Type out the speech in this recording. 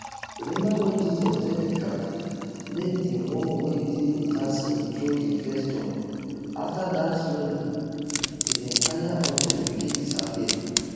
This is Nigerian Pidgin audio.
remember wen jesus tell di crowd make di one wey dey without sin throw di first stone afta dat slowly di entire audience begin disappear